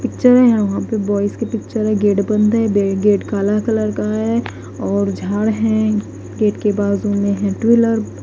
Picture है। यहां पे बॉयज की पिक्चर है। गेट बंद है। गेट काला कलर का है और झाड़ है। गेट के बाजू में है टू व्हीलर --